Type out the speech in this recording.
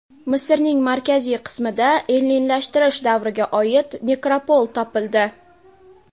Misrning markaziy qismida ellinlashtirish davriga oid nekropol topildi.